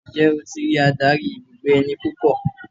Ǹjẹ́ o ti ri adarí ibùgbé ẹni púpọ̀?